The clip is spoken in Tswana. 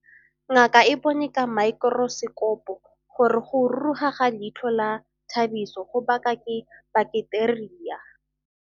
Ngaka e bone ka maekorosekopo gore go ruruga ga leitlho la Thabiso go baka ke baketeria.